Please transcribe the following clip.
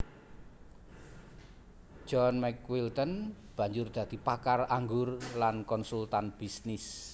John McQuilten banjur dadi pakar anggur lan konsultan bisnis